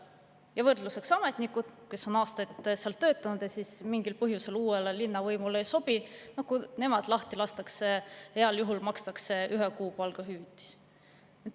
Ja võrdluseks: ametnikele, kes on aastaid seal töötanud, aga mingil põhjusel uuele linnavõimule ei sobi, makstakse heal juhul ühe kuu palga ulatuses hüvitist, kui nad lahti lastakse.